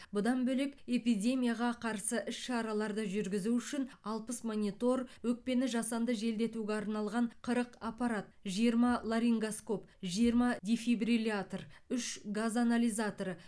бұдан бөлек эпидемияға қарсы іс шараларды жүргізу үшін алпыс монитор өкпені жасанды желдетуге арналған қырық аппарат жиырма ларингоскоп жиырма дефибриллятор үш газ анализаторы